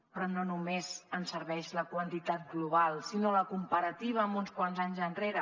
però no només en serveix la quantitat global sinó també la comparativa amb uns quants anys enrere